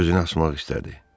Özünü asmaq istədi.